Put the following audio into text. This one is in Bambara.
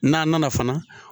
N'a nana fana.